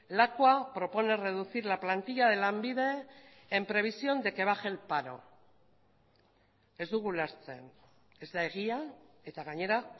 lakua propone reducir la plantilla de lanbide en previsión de que baje el paro ez dugu ulertzen ez da egia eta gainera